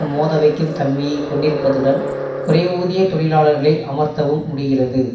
மோத வைக்கும் தன்மையை கொண்டிருப்பதுடன் குறைவூதிய தொழிலாளர்களை அமர்த்தவும் முடிகிறது